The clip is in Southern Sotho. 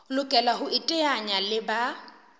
lokela ho iteanya le ba